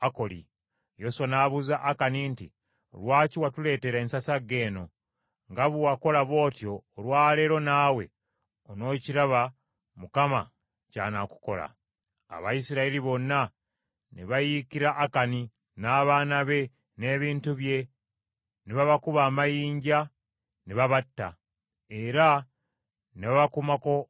Yoswa n’abuuza Akani nti, “Lwaki watuleetera ensasagge eno? Nga bwe wakola bw’otyo olwa leero naawe onookiraba Mukama ky’anaakukola.” Abayisirayiri bonna ne bayiikira Akani, n’abaana be n’ebintu bye ne babakuba amayinja ne babatta era ne babakumako omuliro.